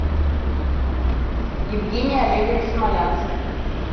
евгений олегович смолянский